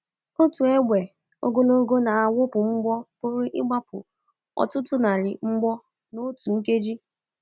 Otu égbè ogologo na-awụpụ mgbọ pụrụ ịgbapụ ọtụtụ narị mgbọ n’otu nkeji.